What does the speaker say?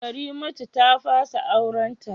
Karimatu ta fasa aurenta